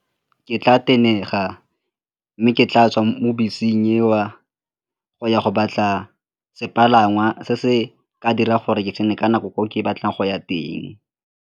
Ke tla tenega mme ke tla tswa mo beseng eo go ya go batla sepalangwa se se ka dira gore ke tsene ka nako gore ke batlang go ya teng.